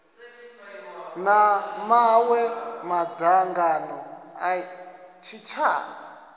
na maṅwe madzangano a tshitshavha